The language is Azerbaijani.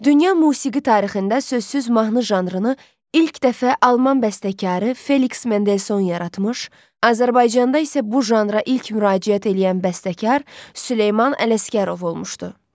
Dünya musiqi tarixində sözsüz mahnı janrını ilk dəfə alman bəstəkarı Feliks Mendelson yaratmış, Azərbaycanda isə bu janra ilk müraciət eləyən bəstəkar Süleyman Ələsgərov olmuşdu.